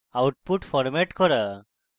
output format করা